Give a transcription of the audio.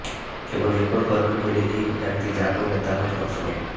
কেবল record করবেন বলে এই ব্যক্তি যা করলেন তাতে হতবাক সকলে